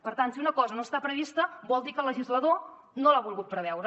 per tant si una cosa no està prevista vol dir que el legislador no l’ha volgut preveure